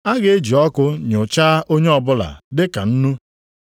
A ga-eji ọkụ nụchaa onye ọbụla dị ka nnu.